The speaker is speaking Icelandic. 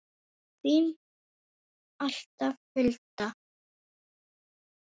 Þín alltaf, Hulda.